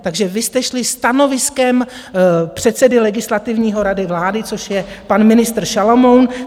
Takže vy jste šli stanoviskem předsedy Legislativní rady vlády, což je pan ministr Šalomoun.